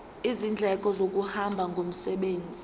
izindleko zokuhamba ngomsebenzi